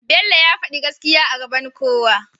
bello ya fadi gaskiya a gaban kowa